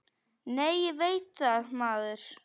Nei, ég veit það, maður!